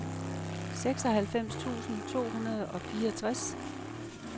seksoghalvfems tusind to hundrede og fireogtres